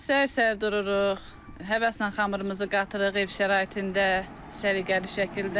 Səhər-səhər dururuq, həvəslə xəmirimizi qatırıq ev şəraitində səliqəli şəkildə.